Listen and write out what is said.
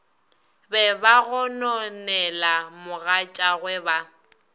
be ba gononela mogatšagwe ba